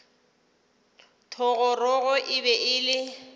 thogorogo e be e le